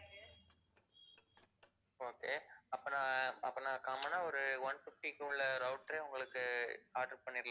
okay அப்ப நான், அப்ப நான் common ஆ ஒரு one fifty க்கு உள்ள router ஏ உங்களுக்கு order பண்ணிடலாம்.